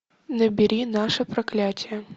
набери наше проклятие